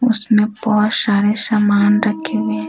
उसमें बहुत सारे सामान रखे हैं।